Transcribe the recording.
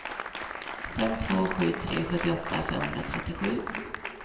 fem två sju tre sjuttioåtta femhundratrettiosju